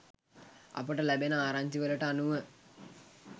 අපට ලැබෙන ආරංචිවලට අනුව